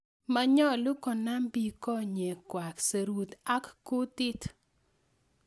Manyolu konam biik konyekwak, serut ak kutiit